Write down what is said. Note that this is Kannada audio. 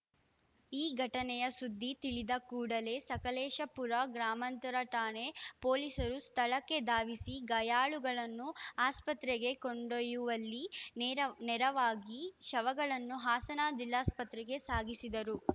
ಈ ಘಟನೆಯ ಸುದ್ದಿ ತಿಳಿದ ಕೂಡಲೇ ಸಕಲೇಶಪುರ ಗ್ರಾಮಾಂತರ ಠಾಣೆ ಪೊಲೀಸರು ಸ್ಥಳಕ್ಕೆ ಧಾವಿಸಿ ಗಾಯಾಳುಗಳನ್ನು ಆಸ್ಪತ್ರೆಗೆ ಕೊಂಡೊಯ್ಯುವಲ್ಲಿ ನೇರ ನೆರವಾಗಿ ಶವಗಳನ್ನು ಹಾಸನ ಜಿಲ್ಲಾಸ್ಪತ್ರೆಗೆ ಸಾಗಿಸಿದರು